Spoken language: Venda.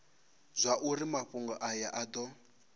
zwauri mafhungo aya a do